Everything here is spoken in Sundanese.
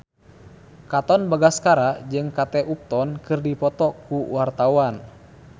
Katon Bagaskara jeung Kate Upton keur dipoto ku wartawan